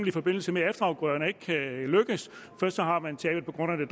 i forbindelse med at efterafgrøderne ikke kan lykkes først har man tabet på grund af